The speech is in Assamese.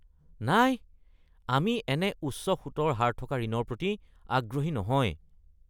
নাই! আমি এনে উচ্চ সুতৰ হাৰ থকা ঋণৰ প্ৰতি আগ্ৰহী নহয়।